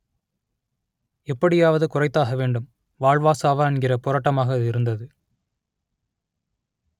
எப்படியாவது குறைத்தாக வேண்டும் வாழ்வா சாவா என்கிற போராட்டமாக அது இருந்தது